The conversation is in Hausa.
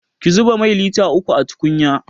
Ki zuba mai lita uku a tukunya!